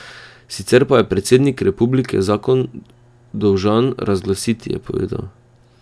Sicer pa je predsednik republike zakon dolžan razglasiti, je povedal.